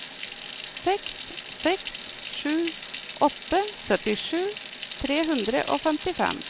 seks seks sju åtte syttisju tre hundre og femtifem